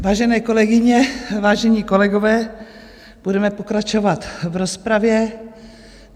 Vážené kolegyně, vážení kolegové, budeme pokračovat v rozpravě.